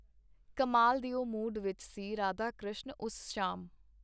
ਕਮਾਲ ਦਿਓ ਮੂਡ ਵਿਚ ਸੀ ਰਾਧਾਕ੍ਰਿਸ਼ਨ ਉਸ ਸ਼ਾਮ.